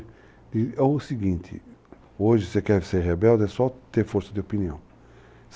É o seguinte, hoje você quer ser rebelde é só ter força de opinião.